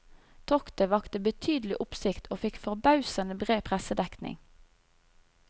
Toktet vakte betydelig oppsikt og fikk forbausende bred pressedekning.